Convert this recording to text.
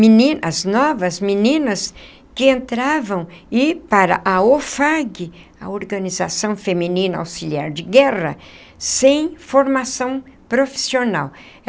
Menina as novas, meninas que entravam e para a OFAG, a Organização Feminina Auxiliar de Guerra, sem formação profissional.